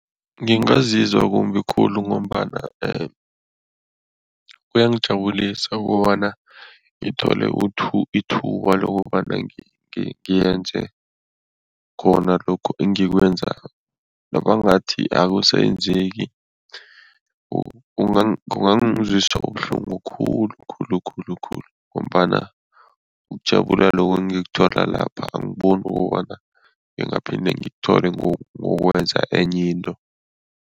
Ngingazizwa kumbi khulu ngombana kuyangijabulisa ukobana ngithole ithuba lokobana ngiyenze khona lokhu engikwenzako. Nabangathi akusenzeki, kungangizwisa ubuhlungu khulu khulu khulu khulu ngombana ukujabula lokhu engikuthola lapha, angiboni kobana ngingaphinde ngikuthole ngokwenza enye into.